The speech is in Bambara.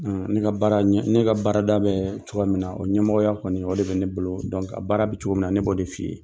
Ne ne ka baarada bɛ cogo min na o ɲɛmɔgɔya kɔni o de bɛ ne bolo baara bɛ cogo min na ne bɛ o de f'i ye